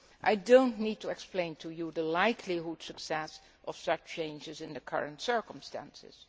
I do not need to explain to you the likelihood of success of such changes in the current circumstances.